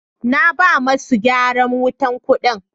naba masu gyaran wutan kudi.